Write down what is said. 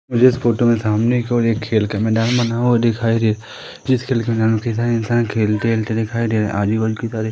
जिस फोटो में सामने केवल एक खेल का मैदान बना हुआ दिखाई दे जिस खेल के मैदान में कई सारे इंसान खेलते खेलते दिखाई दे रहे हैं आज बल्कि की तारीख--